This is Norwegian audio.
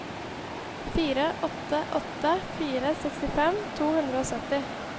fire åtte åtte fire sekstifem to hundre og sytti